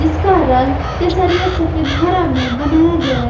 जिसका रंग केसरिया सफेद हरा में बनाया गया है।